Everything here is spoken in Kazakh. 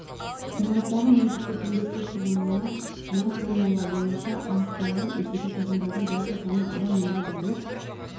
ғимараттағы меншікті түнгі су шығыны мына формула бойынша анықталған үйдегі тұрғындардың жалпы саны адам мұнда барлық